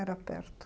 Era perto.